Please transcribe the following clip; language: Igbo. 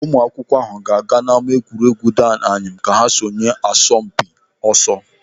Ụmụ akwụkwọ ahụ ga-aga ama egwuregwu Dan Anyịam ka sonye n'asọmpi ọsọ.